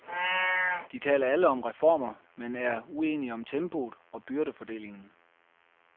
De taler alle om reformer, men er uenige om tempoet og byrdefordelingen.